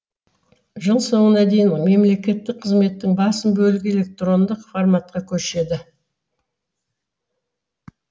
жыл соңына дейін мемлекеттік қызметтің басым бөлігі электрондық форматқа көшеді